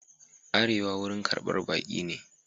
Arewa wurin karɓar baki ne.